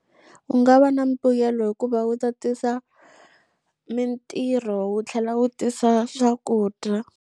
U nga va na mbuyelo hikuva wu ta tisa mintirho wu tlhela wu tisa swakudya.